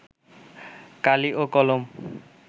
কালি ও কলম